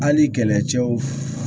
Hali kɛlɛcɛw